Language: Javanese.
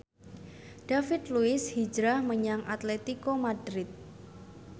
David Luiz hijrah menyang Atletico Madrid